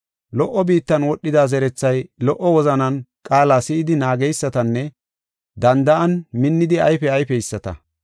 Lo77o biittan wodhida zerethay lo77o wozanan qaala si7idi naageysatanne danda7an minnidi ayfe ayfeyisata.